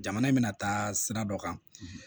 Jamana in bɛna taa sira dɔ kan